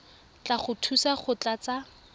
tla go thusa go tlatsa